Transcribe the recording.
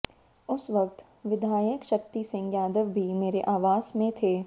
उस वक्त विधायक शक्ति सिंह यादव भी मेरे आवास में थे